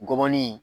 Gɔbɔni